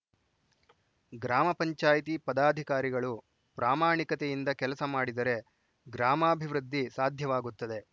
ಗ್ರಾಮ ಪಂಚಾಯತಿ ಪದಾಧಿಕಾರಿಗಳು ಪ್ರಾಮಾಣಿಕತೆಯಿಂದ ಕೆಲಸ ಮಾಡಿದರೆ ಗ್ರಾಮಾಭಿವೃದ್ಧಿ ಸಾಧ್ಯವಾಗುತ್ತದೆ